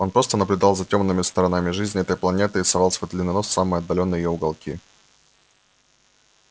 он просто наблюдал за тёмными сторонами жизни этой планеты и совал свой длинный нос в самые отдалённые её уголки